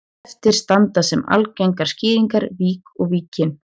Eftir standa sem algengar skýringar vík og Víkin.